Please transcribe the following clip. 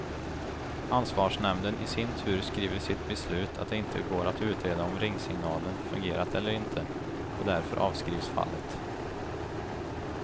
Ansvarsnämnden i sin tur skriver i sitt beslut att det inte går att utreda om ringsignalen fungerat eller inte, och därför avskrivs fallet.